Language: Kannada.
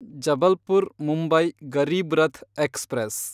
ಜಬಲ್ಪುರ್ ಮುಂಬೈ ಗರೀಬ್ರಥ್ ಎಕ್ಸ್‌ಪ್ರೆಸ್